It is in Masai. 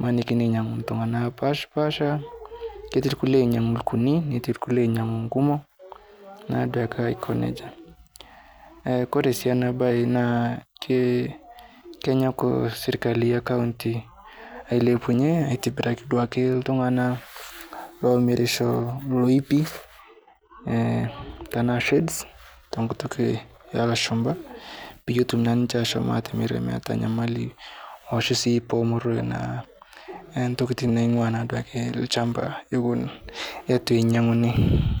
Emanikini neinyaku ltung'ana apashapasha, ketii lkule oinyang'u lkuni netii lkule oinyang'u kumo naa duake aiko neja. Eh kore sii ana baye naa ke kenyok sirkali ekaunti ailepunye aitibiraki duake ltung'ana loomirisho loipi eh tanaa shades tekutuk eleshumpa, peye etum naa ninche ashom aatimire meata nyamali osho sii pemeroyo naa entokitin naing'ua naaduake lchamba ewon etu enyang'uni.